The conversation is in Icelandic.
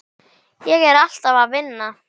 Ég er alltaf að vinna.